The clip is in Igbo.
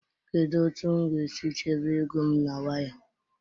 Kedu otu m ga-esi chebe ego m na wayo?